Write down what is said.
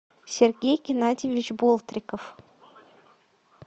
сергей геннадьевич болтриков